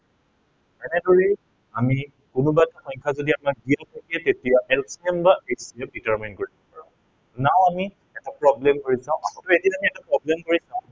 এনেদৰেই আমি কোনোবাটো সংখ্য়া যদি আমাক উলিয়াব দিয়ে তেতিয়া LCM বা HCM determine কৰি চাম। now আমি এটা problem কৰি চাও। এইখিনিতে আমি এটা problem কৰি চাও